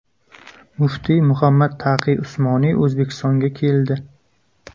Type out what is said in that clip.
Muftiy Muhammad Taqiy Usmoniy O‘zbekistonga keldi.